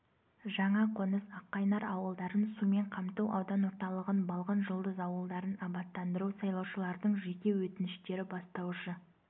жаңа қоныс ақ қайнар ауылдарын сумен қамту аудан орталығын балғын жұлдыз ауылдарын абаттандыру сайлаушылардың жеке өтініштері бастаушы